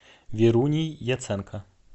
веруней яценко